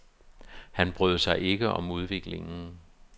Han brød sig ikke om udviklingen.